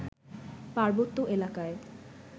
পার্বত্য এলাকায়